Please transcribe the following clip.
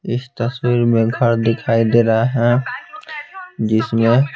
इस तस्वीर में घर दिखाई दे रहा है जिसमें--